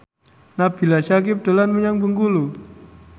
Nabila Syakieb dolan menyang Bengkulu